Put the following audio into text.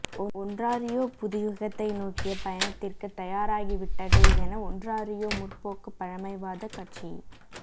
Ontario புது யுகத்தை நோக்கிய பயணத்திற்கு தயாராகி விட்டது என ஒன்ராறியோ முற்போக்கு பழமைவாதக் கட்சியி